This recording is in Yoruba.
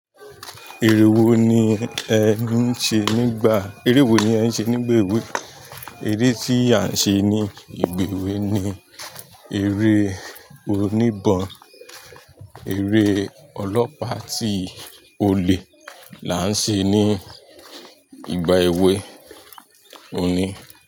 Eré wo ni ẹ ń ṣe nígbà, eré wo ni ẹ ń ṣe nígbà èwe? Eré tí a ń ṣe ní ìgbà èwe ni eré oní ìbọn, eré ọlọ́pàá tí olè là ń ṣe ní ìgbà èwe. Óun ní.